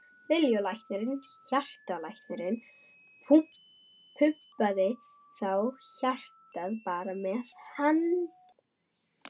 Lillý: Og læknirinn, hjartalæknirinn pumpaði þá hjartað bara með handafli?